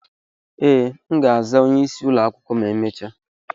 Ee, m ga-aza onye isi ụlọ akwụkwọ ma emechaa.